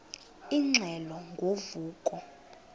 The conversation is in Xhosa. ingxelo ngo vuko